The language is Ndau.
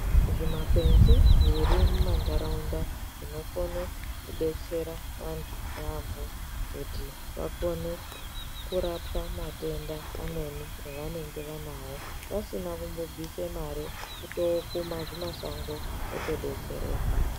Zvimakwenzi zviri mumandaraunda zvinokone kubetsera vandu nevamweni kuti vapone kurapa matenda amweni avenge vanayo vasina kumbobvisa mari oto kuma zvimashango otodetsereka.